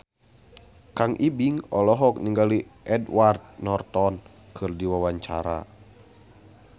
Kang Ibing olohok ningali Edward Norton keur diwawancara